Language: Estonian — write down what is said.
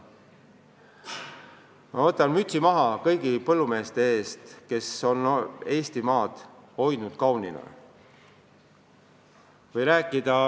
Ma võtan mütsi maha kõigi põllumeeste ees, kes on Eestimaad hoidnud kaunina.